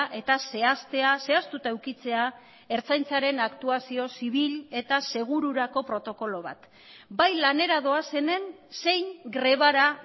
eta zehaztea zehaztuta edukitzea ertzaintzaren aktuazio zibil eta segururako protokolo bat bai lanera doazenen zein grebara